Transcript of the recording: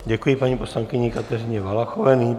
Děkuji paní poslankyni Kateřině Valachové.